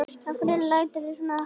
Af hverju læturðu svona Haddi?